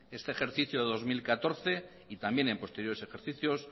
este ejercicio de dos mil catorce y también en posteriores ejercicios